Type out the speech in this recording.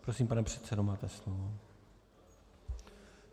Prosím, pane předsedo, máte slovo.